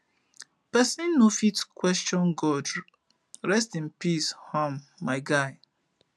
pesin no fit question god rest in peace um my guy